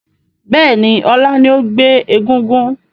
Bẹ́ẹ̀ni, ọlá ni ó gbé egúngún